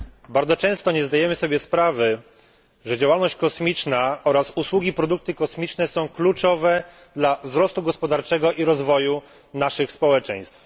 Bardzo często nie zdajemy sobie sprawy, że działalność kosmiczna oraz usługi i produkty kosmiczne są kluczowe dla wzrostu gospodarczego i rozwoju naszych społeczeństw.